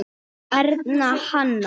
Erna Hanna.